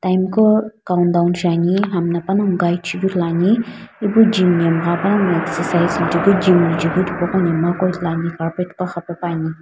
tim ko count down shiane hamna panagho gid shiane.